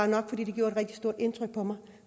nok fordi det gjorde et rigtig stort indtryk på mig